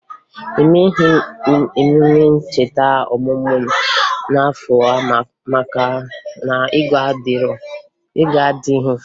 Emeghi m emume ncheta ọmụmụ m n'afọ a maka na ego adịghị